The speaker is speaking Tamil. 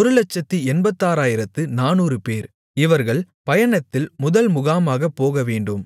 186400 பேர் இவர்கள் பயணத்தில் முதல் முகாமாகப் போகவேண்டும்